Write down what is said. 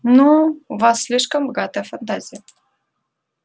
ну у вас слишком богатая фантазия